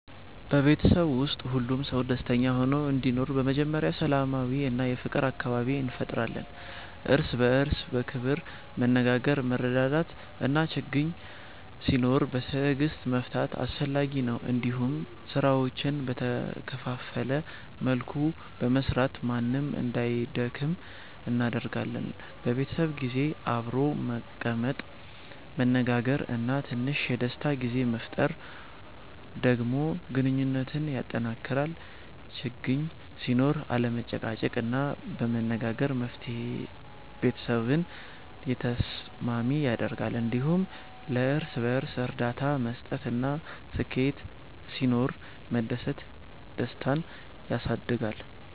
በቤተሰብ ውስጥ ሁሉም ሰው ደስተኛ ሆኖ እንዲኖር በመጀመሪያ ሰላማዊ እና የፍቅር አካባቢ እንፈጥራለን። እርስ በእርስ በክብር መነጋገር፣ መረዳዳት እና ችግኝ ሲኖር በትዕግስት መፍታት አስፈላጊ ነው። እንዲሁም ስራዎችን በተከፋፈለ መልኩ በመስራት ማንም እንዳይደክም እናረጋግጣለን። በቤተሰብ ጊዜ አብሮ መቀመጥ፣ መነጋገር እና ትንሽ የደስታ ጊዜ መፍጠር ደግሞ ግንኙነትን ያጠናክራል። ችግኝ ሲኖር አለመጨቃጨቅ እና በመነጋገር መፍታት ቤተሰብን የተስማሚ ያደርጋል። እንዲሁም ለእርስ በእርስ እርዳታ መስጠት እና ስኬት ሲኖር መደሰት ደስታን ያሳድጋል።